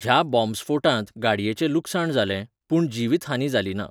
ह्या बॉम्बस्फोटांत गाडयेचें लुकसाण जालें, पूण जिवीतहानी जालीना.